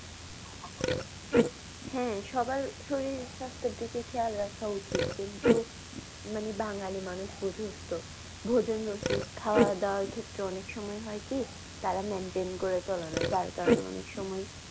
হ্যা সবার শরীর স্বাস্থ্য এর দিকে খেয়াল রাখা উচিত। কিন্তু মানে বাঙালি মানুষ বুঝুস তো। ভোজন রসিক খাওয়া দাওয়া এর ক্ষেত্রে অনেক সময় হয় কি তারা maintain করে চলেনা তার কারণে অনেক সময়।